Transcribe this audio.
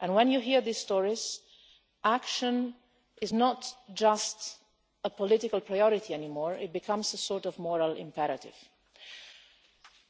When you hear these stories, action is no longer just a political priority, but it becomes a sort of moral imperative.